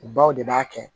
U baw de b'a kɛ